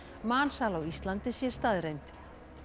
mansal á Íslandi sé staðreynd